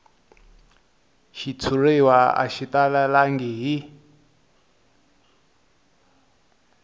xitshuriwa a xi talelangi hi